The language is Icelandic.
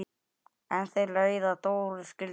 En leiðir þeirra Dóru skildu.